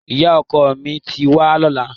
Ìyá ọkọ mi ti wà lọ́nà.